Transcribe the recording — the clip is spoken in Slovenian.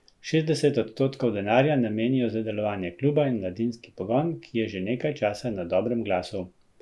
Šestdeset odstotkov denarja namenijo za delovanje kluba in mladinski pogon, ki je že nekaj časa na dobrem glasu.